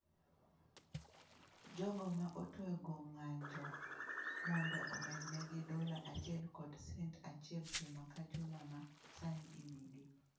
Jogo ma otwego ng’anjo mondo omednegi dola achiel kod cent achiel juma ka juma ma sani imigi.